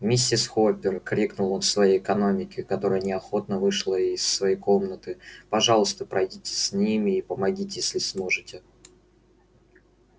миссис хоппер крикнул он своей экономке которая неохотно вышла из комнаты пожалуйста пройдите с ними и помогите если сможете